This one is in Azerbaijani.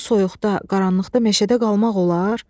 Bu soyuqda, qaranlıqda meşədə qalmaq olar?